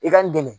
I ka n dɛmɛ